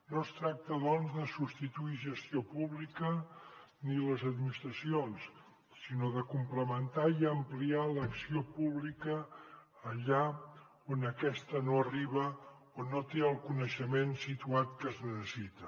no es tracta doncs de substituir gestió pública ni les administracions sinó de complementar i ampliar l’acció pública allà on aquesta no arriba on no té el coneixement situat que es necessita